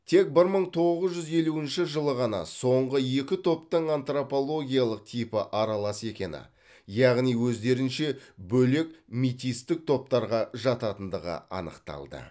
тек бір мың тоғыз жүз елуінші жылы ғана соңғы екі топтың антропологиялық типі аралас екені яғни өздерінше бөлек метистік топтарға жататындығы анықталды